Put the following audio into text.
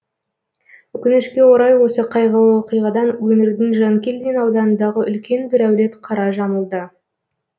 өкінішке орай осы қайғылы оқиғадан өңірдің жанкелдин ауданындағы үлкен бір әулет қара жамылды